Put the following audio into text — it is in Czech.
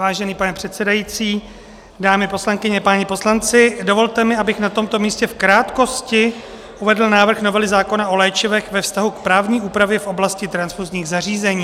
Vážený pane předsedající, dámy poslankyně, páni poslanci, dovolte mi, abych na tomto místě v krátkosti uvedl návrh novely zákona o léčivech ve vztahu k právní úpravě v oblasti transfuzních zařízení.